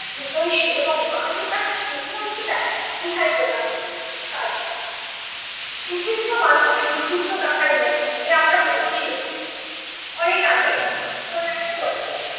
হিতৈষী এবং মা যে তাহার সুখের অন্তরায় ইহাই প্রমাণ হইবে। কাজ কী। বিচিত্র মানুষ, বিচিত্র তাহার মন এ আমরা পড়েছি, অনেক আগে কোনো একটা গল্পে।